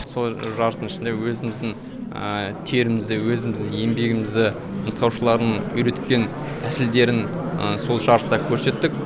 сол жарыстың ішінде өзіміздің терімізді өзіміздің еңбегімізді нұсқаушылардың үйреткен тәсілдерін сол жарыста көрсеттік